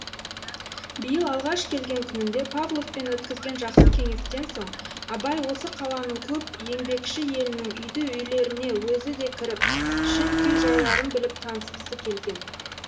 биыл алғаш келген күнінде павловпен өткізген жақсы кеңестен соң абай осы қаланың көп еңбекші елінің үйді үйлеріне өзі де кіріп шын күй жайларын біліп танысқысы келген